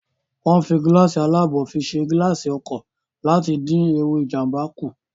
Wọ́n ń fi gíláàsì alábò fi ṣe gilaasi ọkọ̀ láti dín ewu Ìjàmbá kù